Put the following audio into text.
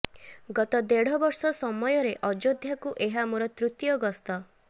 ଗତ ଦେଢ ବର୍ଷ ସମୟରେ ଅଯୋଧ୍ୟାକୁ ଏହା ମୋର ତୃତୀୟ ଗସ୍ତ